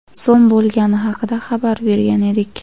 so‘m bo‘lgani haqida xabar bergan edik.